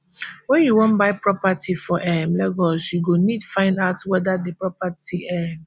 wen you wan buy property for um lagos you go need find out weda di property um